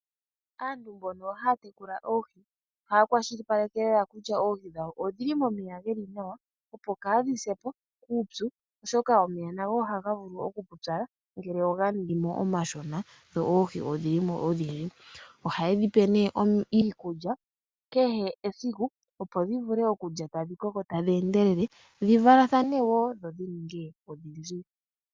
Aantu mbono haya tekula oohi, ohaya kwashilipaleke lela kutya oohi odhili momeya geli nawa, opo kaadhi se po kuupyu, oshoka omeya nago ohaga vulu oku pupyala ngele oga ningi mo omashona dho oohi odhi limo odhindji. Ohaye dhi pe nee iikulya kehe esiku, opo dhi vule okulya tadhi koko tadhi endelele, dhi valathane wo dho dhi ninge odhindji.